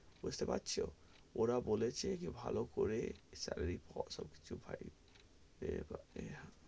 বুঝতে পারছো, ওরা বলেছে যে ভালো করে .